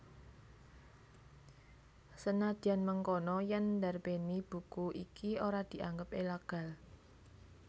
Senadyan mengkono yèn ndarbèni buku iki ora dianggep ilegal